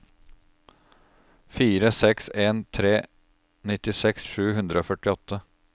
fire seks en tre nittiseks sju hundre og førtiåtte